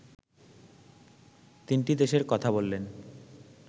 তিনটি দেশের কথা বললেন